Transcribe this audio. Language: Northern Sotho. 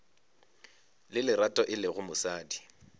le lerato e lego mosadi